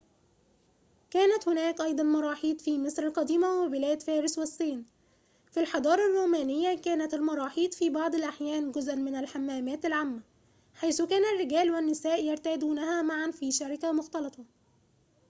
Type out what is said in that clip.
كانت هناك أيضاً مراحيض في مصر القديمة وبلاد فارس والصين في الحضارة الرومانية كانت المراحيض في بعض الأحيان جزءاً من الحمامات العامة حيث كان الرجال والنساء يرتادونها معاً في شركة مختلطة